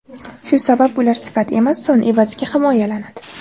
Shu sabab ular sifat emas, son evaziga himoyalanadi.